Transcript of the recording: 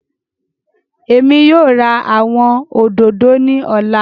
Emi yóò ra awọn ododo ni ọla.